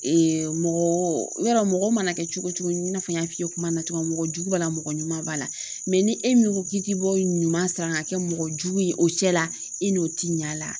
mɔgɔ ya yɔrɔ mɔgɔ mana kɛ cogo cogo i n'a fɔ n y'a f'i ye kuma na cogo min mɔgɔ jugu b'a la mɔgɔ ɲuman b'a la ni e min ko k'i ti bɔ ɲuman sira kan ka kɛ mɔgɔ jugu ye o cɛla i n'o ti ɲɛ a la.